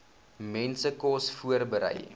mense kos voorberei